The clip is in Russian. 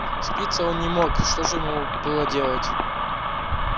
сердиться он не мог что же ему было делать